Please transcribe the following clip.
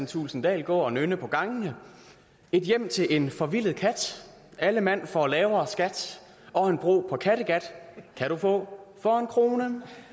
thulesen dahl gå og nynne på gangene et hjem til en forvildet kat alle mand får lavere skat og en bro på kattegat kan du få for en krone